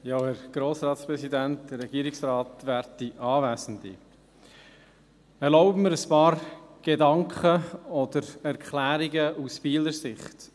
Ich erlaube mir, ein paar Gedanken oder Erklärungen aus Bieler Sicht.